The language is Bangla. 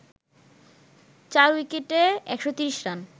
৪ উইকেটে ১৩০ রান